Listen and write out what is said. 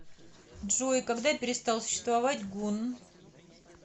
джой когда перестал существовать гунн